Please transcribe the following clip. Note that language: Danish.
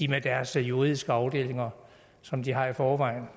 med deres juridiske afdelinger som de har i forvejen